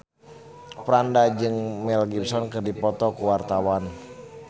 Franda jeung Mel Gibson keur dipoto ku wartawan